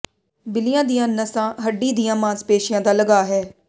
ਬਿੱਲੀਆਂ ਦੀਆਂ ਨਸਾਂ ਹੱਡੀ ਦੀਆਂ ਮਾਸਪੇਸ਼ੀਆਂ ਦਾ ਲਗਾਅ ਹੈ